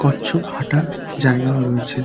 কচ্ছপ হাঁটা জায়গা ও রয়েছে।